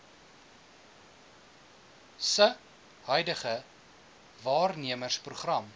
se huidige waarnemersprogram